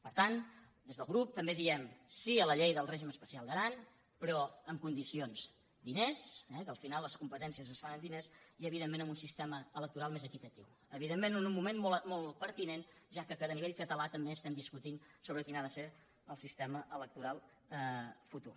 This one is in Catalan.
per tant des del grup també diem sí a la llei del règim especial d’aran però amb condicions diners eh que al final les competències es fan amb diners i evidentment amb un sistema electoral més equitatiu en un moment molt pertinent ja que a nivell català també estem discutint sobre quin ha de ser el sistema electoral futur